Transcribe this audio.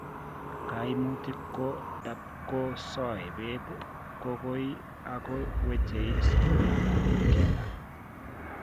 Kaimutik ko tamkoo soebet kokoi ako weche sobeet ab kila